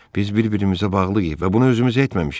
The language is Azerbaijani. Biz bir-birimizə bağlıyıq və bunu özümüzə etməmişik.